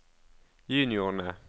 juniorene